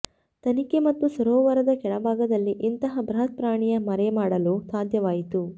ತನಿಖೆ ಮತ್ತು ಸರೋವರದ ಕೆಳಭಾಗದಲ್ಲಿ ಇಂತಹ ಬೃಹತ್ ಪ್ರಾಣಿಯ ಮರೆಮಾಡಲು ಸಾಧ್ಯವಾಯಿತು